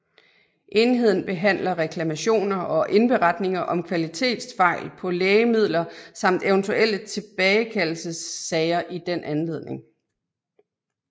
Enheden behandler reklamationer og indberetninger om kvalitetsfejl på lægemidler samt eventuelle tilbagekaldelsessager i den anledning